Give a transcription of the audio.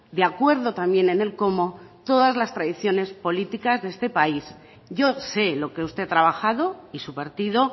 de acuerdo también en el cómo todas las tradiciones políticas de este país yo sé lo que usted ha trabajado y su partido